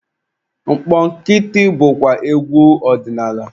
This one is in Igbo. Mkpọkịtị bụkwa egwu ọdinaala.